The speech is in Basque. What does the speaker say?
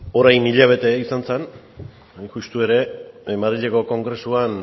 orain hilabete izan zen hain justu ere madrileko kongresuan